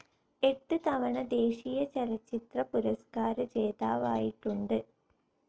എട്ട് തവണ ദേശീയ ചലച്ചിത്രപുരസ്ക്കാര ജേതാവായിട്ടുണ്ട്.